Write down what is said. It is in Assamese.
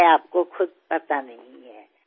মই আপোনাক অধিক কষ্ট দিব নোখোজো